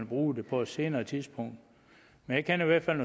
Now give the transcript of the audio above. bruge det på et senere tidspunkt jeg kender i hvert fald